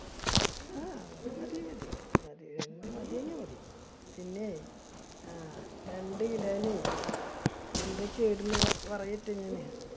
ആ അത് മതി മതിയെങ്കി മതി. പിന്നെ, ആ രണ്ട് kilo നെ എന്തൊക്കെയാ ഇടുന്നെ എന്ന് പറയട്ടെ ഞാന്.